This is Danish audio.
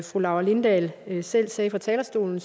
fru laura lindahl selv sagde fra talerstolen